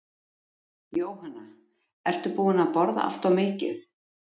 Jóhanna: Ertu búinn að borða allt of mikið?